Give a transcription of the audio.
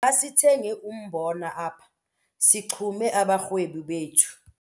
Masithenge umbona apha sixhume abarhwebi bethu.